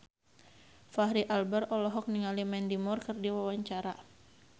Fachri Albar olohok ningali Mandy Moore keur diwawancara